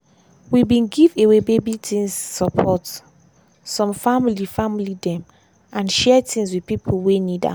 we bin give away baby things support some family family dem and share things with pipo wey need am.